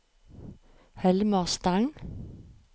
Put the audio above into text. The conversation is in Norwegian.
Helmer Stang